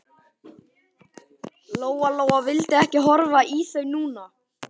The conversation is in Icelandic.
Lóa Lóa vildi ekki horfa í þau núna.